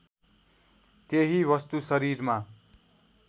त्यही वस्तु शरीरमा